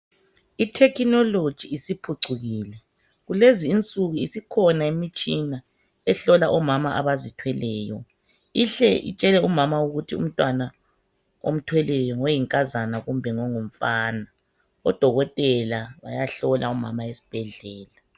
Ithekinologi isiphucukile kulezi insuka isikhona imitshina ehlola omama abazithweleyo ihle itshele umama ukuthi umntwana omthweleyo ngoyinkazana kumbe ngongumfana. Odokotela bayahlola umama esibhedlela.